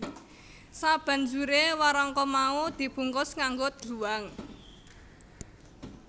Sabanjuré warangka mau di bungkus nganggo dluwang